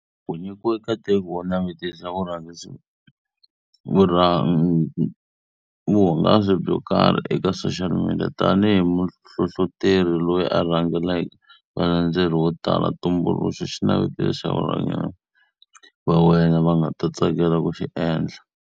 U nyikiwe nkateko wo navetisa vuhangasi byo karhi eka Social Media. Tanihi muhlohloteri loyi a rhangelaka valandzeleri vo tala, tumbuluxa xinavetiso xa va wena va nga tsakelaka ku xi endla.